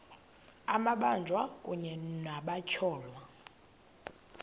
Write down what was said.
amabanjwa kunye nabatyholwa